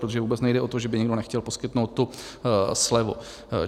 Protože vůbec nejde o to, že by někdo nechtěl poskytnout tu slevu.